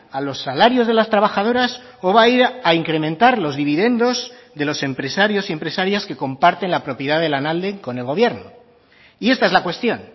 a los salarios de las trabajadoras o va a ir a incrementar los dividendos de los empresarios y empresarias que comparten la propiedad de lanalde con el gobierno y esta es la cuestión